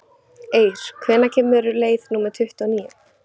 Eir, hvenær kemur leið númer tuttugu og níu?